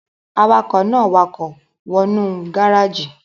Awakọ̀ náà wakọ̀ wọ nú gáràjì